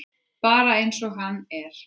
Bara eins og hann er.